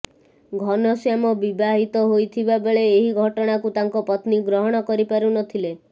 ଘନଶ୍ୟାମ ବିବାହିତ ହୋଇଥିବା ବେଳେ ଏହି ଘଟଣାକୁ ତାଙ୍କ ପତ୍ନୀ ଗ୍ରହଣ କରିପାରୁ ନ ଥିଲେ